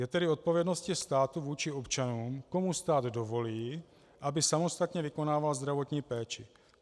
Je tedy odpovědností státu vůči občanům, komu stát dovolí, aby samostatně vykonával zdravotní péči.